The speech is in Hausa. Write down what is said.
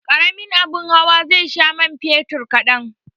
Karamin abin hawa zai sha man fetur kadan.